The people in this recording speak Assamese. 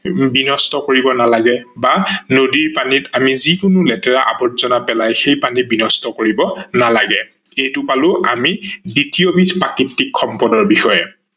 বিনষ্ট কৰিব নালাগে বা নদী পানীত আমি যিকোনো লেতেৰা আবৰ্জনা পেলাই সেই পানী বিনষ্ট কৰিব নালাগে। এইটো পালো আমি দ্বিতীয় বিধ প্ৰাকৃতিক সম্পদৰ বিষয়ে